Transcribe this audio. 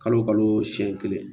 Kalo kalo siɲɛ kelen